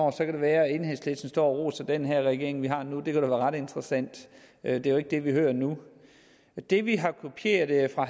kan det være at enhedslisten står og roser den regering vi har nu det være ret interessant det er jo ikke det vi hører nu det vi har kopieret fra